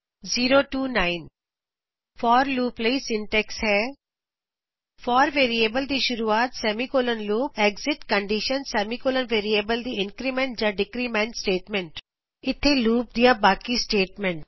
0 ਤੋ 9 for loop for loop ਲਈ syntax syntax ਵਾਕ ਰਚਨਾ ਹੈ forਵੇਰੀਏਬਲ ਦੀ ਸ਼ੁਰੂਆਤ semicolon loop exit condition semicolon variable ਦੀ ਇੰਕਰੀਮੈਂਟ ਜਾਂ ਡਿਕਰੀਮੈਂਟ ਸਟੇਟਮੈਂਟ ਅਤੇ ਇਥੇ ਹਨ ਲੂਪ ਦੀਆਂ ਬਾਕੀ ਸਟੇਟਮੈਂਟਸ